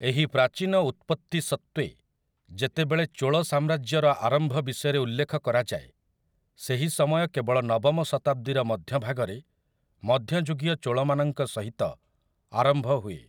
ଏହି ପ୍ରାଚୀନ ଉତ୍ପତ୍ତି ସତ୍ତ୍ୱେ, ଯେତେବେଳେ ଚୋଳ ସାମ୍ରାଜ୍ୟର ଆରମ୍ଭ ବିଷୟରେ ଉଲ୍ଲେଖ କରାଯାଏ, ସେହି ସମୟ କେବଳ ନବମ ଶତାବ୍ଦୀର ମଧ୍ୟଭାଗରେ ମଧ୍ୟଯୁଗୀୟ ଚୋଳମାନଙ୍କ ସହିତ ଆରମ୍ଭ ହୁଏ ।